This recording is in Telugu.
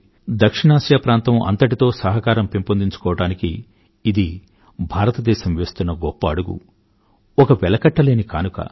దక్షిణాసియా ప్రాంతం అంతటిలో సహకారం పెంపొందించుకోవడానికి ఇది భారతదేశం వేస్తున్న గొప్ప అడుగు ఒక వెలకట్టలేని కానుక